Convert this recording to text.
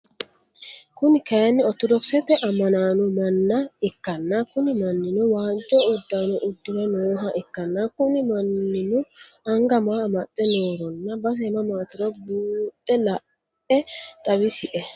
Kuni kaayiini orttodoksete ammanaano manna ikkanna Kuni mannino waajjo uddano uddire nooha ikkana Kuni mannino angga maa amaxxe nohoronna base mamaatiro buuxe la'e xawisie?